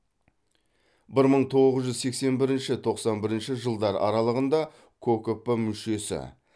бір мың тоғыз жүз сексен бірінші тоқсан бірінші жылдар аралығында кокп мүшесі